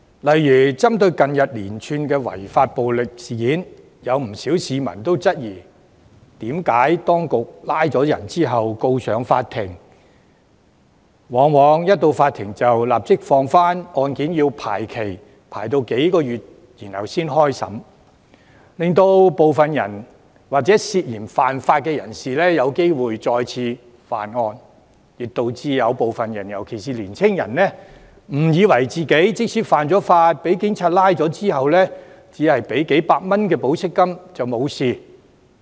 例如，針對近月連串違法暴力事件，不少市民質疑為何當局拘捕有關人士並將他們送上法庭後，法庭往往會准許他們保釋，案件要排期數個月後才開審，令涉嫌犯法人士有機會再次犯案，亦導致部分人士，尤其是年青人，誤以為即使犯法被捕，只要繳付數百元保釋金便沒事。